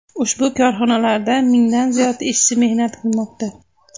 Ushbu korxonalarda mingdan ziyod ishchi mehnat qilmoqda.